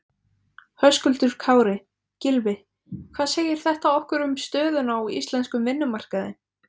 Höskuldur Kári: Gylfi hvað segir þetta okkur um stöðuna á íslenskum vinnumarkaði?